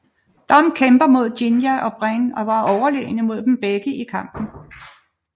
Dom kæmper mod Jinja og Bren og var overlegne mod dem begge i kampen